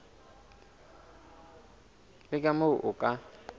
le ka moo o ka